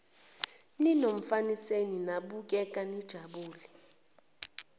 ninomfaniseni nabukeka nijabule